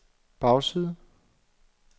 bagside